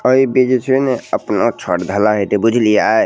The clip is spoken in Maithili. और इ दिखी छी ना अपना छत ढलाईत बुझलिअइ।